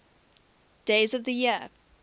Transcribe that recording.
days of the year